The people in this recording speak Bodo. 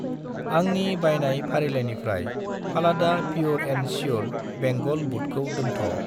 आंनि बायनाय फारिलाइनिफ्राय फालादा प्युर एन श्युर बेंगल बुदखौ दोनथ'।